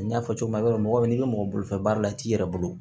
N y'a fɔ cogo min na i b'a dɔn mɔgɔ n'i bɛ mɔgɔ bolofɛn baara la i yɛrɛ bolo